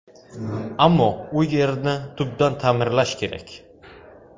Ammo u yerni tubdan ta’mirlash kerak.